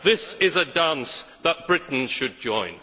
This is a dance that Britain should join.